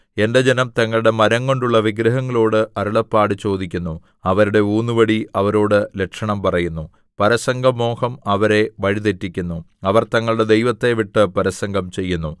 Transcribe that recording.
എന്റെ ജനം തങ്ങളുടെ മരംകൊണ്ടുള്ള വിഗ്രഹങ്ങളോട് അരുളപ്പാട് ചോദിക്കുന്നു അവരുടെ ഊന്നുവടി അവരോട് ലക്ഷണം പറയുന്നു പരസംഗമോഹം അവരെ വഴി തെറ്റിക്കുന്നു അവർ തങ്ങളുടെ ദൈവത്തെ വിട്ട് പരസംഗം ചെയ്യുന്നു